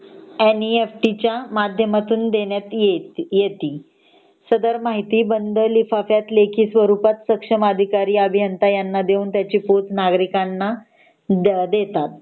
NEFT च्या माध्यमातून देण्यात येती सदर माहिती लेखी स्वरूपात बंद लिफाफ्यात सक्षम अधिकारी अभियंता यांना देऊन त्याची पोहोच नागरिकांना द्या देतात